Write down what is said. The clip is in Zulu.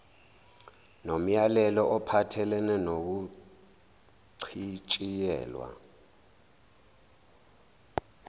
nomyalelo ophathelene nokuchitshiyelwa